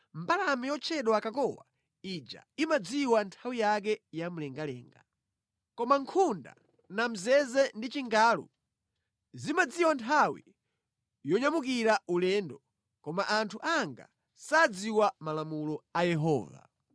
Mbalame yotchedwa kakowa ija imadziwa nthawi yake mlengalenga. Koma nkhunda, namzeze ndi chingalu zimadziwa nthawi yonyamukira ulendo, koma anthu anga sadziwa malamulo a Yehova.